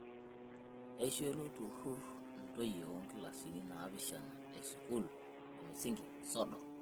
Eishoo ilo tururr ntoyie oo nkilasini naapishana e sukuul e msingi sodo